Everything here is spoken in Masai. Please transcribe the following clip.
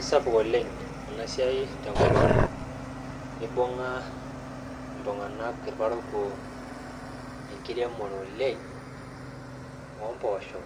Isapuk oleng ena siai tenkop ang ibung'a iltung'anak irparakuo enkiremore oleng ompoosho